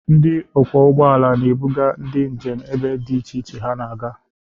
Ndị ọkwọ ụgbọ ala na-ebuga ndị njem ebe dị iche iche ha na-aga.